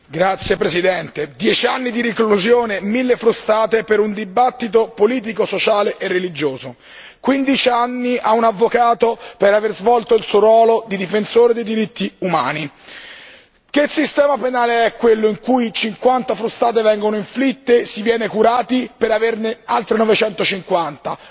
Signor Presidente, onorevoli colleghi, dieci anni di reclusione e mille frustate per un dibattito politico, sociale e religioso, quindici anni a un avvocato per avere svolto il suo ruolo di difensore dei diritti umani. Che sistema penale è quello in cui cinquanta frustate vengono inflitte e si viene curati per averne altre novecentocinquanta?